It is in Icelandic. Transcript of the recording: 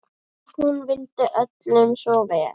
Hún vildi öllum svo vel.